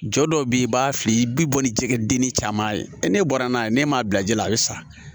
Jɔ dɔw bɛ yen i b'a fili i bi bɔ ni jɛgɛ denni caman ye n'e bɔra n'a ye n'e m'a bila ji la a bɛ sa